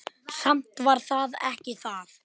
Samt var það ekki það.